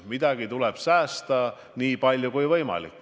Midagi tuleb säästa, nii palju kui võimalik.